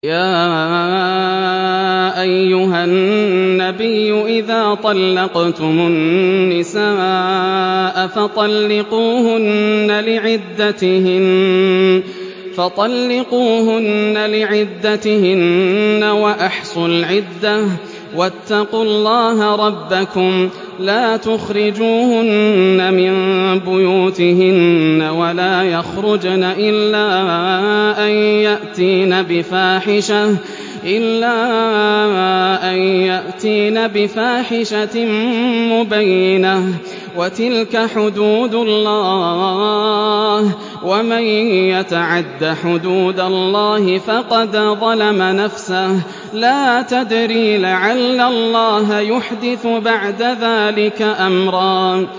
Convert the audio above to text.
يَا أَيُّهَا النَّبِيُّ إِذَا طَلَّقْتُمُ النِّسَاءَ فَطَلِّقُوهُنَّ لِعِدَّتِهِنَّ وَأَحْصُوا الْعِدَّةَ ۖ وَاتَّقُوا اللَّهَ رَبَّكُمْ ۖ لَا تُخْرِجُوهُنَّ مِن بُيُوتِهِنَّ وَلَا يَخْرُجْنَ إِلَّا أَن يَأْتِينَ بِفَاحِشَةٍ مُّبَيِّنَةٍ ۚ وَتِلْكَ حُدُودُ اللَّهِ ۚ وَمَن يَتَعَدَّ حُدُودَ اللَّهِ فَقَدْ ظَلَمَ نَفْسَهُ ۚ لَا تَدْرِي لَعَلَّ اللَّهَ يُحْدِثُ بَعْدَ ذَٰلِكَ أَمْرًا